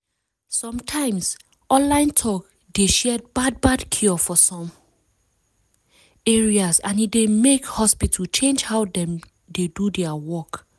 some times online talk dey share bad bad cure for some ares and e dey make hospital change how dem dey do their work.